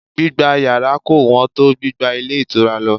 Gbígba yàrá kò wón tó gbígba ilé ìtura lọ